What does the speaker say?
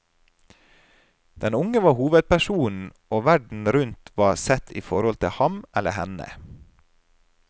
Den unge var hovedpersonen, og verden rundt var sett i forhold til ham eller henne.